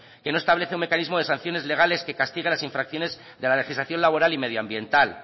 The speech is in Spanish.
que no establece un mecanismo de sanciones legales que castiga las infracciones de la legislación laboral y medioambiental